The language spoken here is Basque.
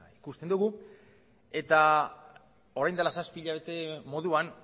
ikusten dugu eta orain dela zazpi hilabete moduan